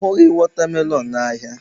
A hụghị watermelon n'ahịa.